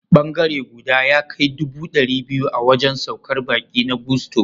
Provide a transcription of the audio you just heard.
Bangare guda ya kai dubu ɗari biyu a wajen saukar baƙi na Gusto.